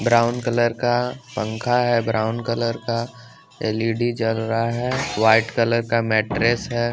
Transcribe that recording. Brown colour का पंखा है ब्राउन कलर का एल_इ_डी जल रहा है वाइट कलर का मैट्रेस है।